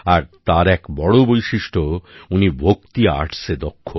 আর তার এক বড় বৈশিষ্ট্য উনি ভক্তি আর্টসে দক্ষ